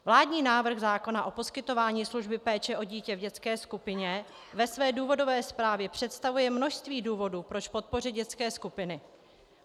Vládní návrh zákona o poskytování služby péče o dítě v dětské skupině ve své důvodové zprávě představuje množství důvodů, proč podpořit dětské skupiny.